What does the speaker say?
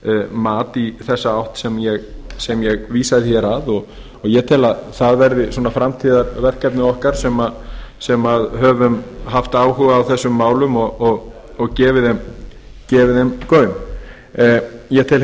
mat í þá átt sem ég vísaði til og ég tel að það verði framtíðarverkefni okkar sem höfum haft áhuga á þessum málum og gefið þeim gaum ég tel